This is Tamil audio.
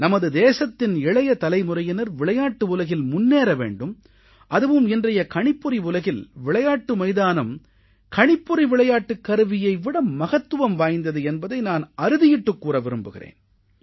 நமது தேசத்தின் இளைய தலைமுறையினர் விளையாட்டு உலகில் முன்னேற வேண்டும் அதுவும் இன்றைய கணிப்பொறி உலகில் விளையாட்டு மைதானம் கணிப்பொறி விளையாட்டுக் கருவியை விட மகத்துவம் வாய்ந்தது என்பதை நான் அறுதியிட்டுக் கூற விரும்புகிறேன்